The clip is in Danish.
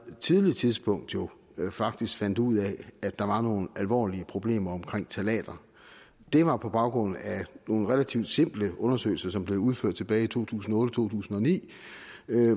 tidligt tidspunkt faktisk fandt ud af at der var nogle alvorlige problemer omkring ftalater det var på baggrund af nogle relativt simple undersøgelser som blev udført tilbage i to tusind og to tusind og ni